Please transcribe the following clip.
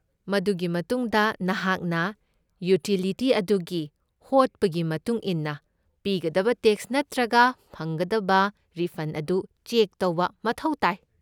ꯃꯗꯨꯒꯤ ꯃꯇꯨꯡꯗ ꯅꯍꯥꯛꯅ ꯌꯨꯇꯤꯂꯤꯇꯤ ꯑꯗꯨꯒꯤ ꯍꯣꯠꯄꯒꯤ ꯃꯇꯨꯡ ꯏꯟꯅ ꯄꯤꯒꯗꯕ ꯇꯦꯛꯁ ꯅꯠꯇ꯭ꯔꯒ ꯐꯪꯒꯗꯕ ꯔꯤꯐꯟꯗ ꯑꯗꯨ ꯆꯦꯛ ꯇꯧꯕ ꯃꯊꯧ ꯇꯥꯏ꯫